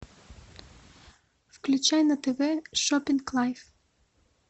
включай на тв шопинг лайф